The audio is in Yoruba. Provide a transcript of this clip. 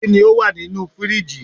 Kini o wa ninu firiji?